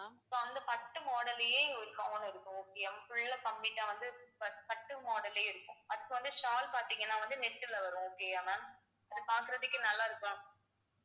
இப்ப வந்து பட்டு model லயே ஒரு gown இருக்கும் okay யா full அ complete ஆ வந்து பட்~ பட்டு model ஏ இருக்கும் அதுக்கு வந்து shawl பாத்தீங்கன்னா வந்து net ல வரும் okay யா ma'am பாக்குறதுக்கே நல்லா இருக்கும்